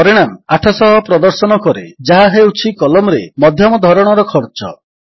ପରିଣାମ 800 ପ୍ରଦର୍ଶନ କରେ ଯାହା ହେଉଛି କଲମ୍ ରେ ମଧ୍ୟମ ଧରଣର ଖର୍ଚ୍ଚ